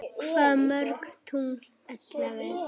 Hvað mörg tungl ellefu?